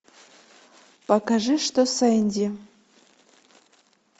покажи что с энди